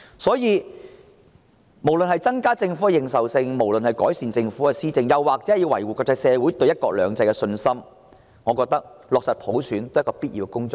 所以，無論是為了增加政府認受性，改善政府施政，還是維護國際社會對"一國兩制"的信心，我認為落實普選也是必要的工作。